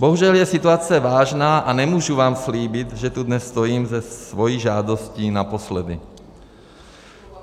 Bohužel je situace vážná a nemůžu vám slíbit, že tu dnes stojím se svou žádostí naposledy.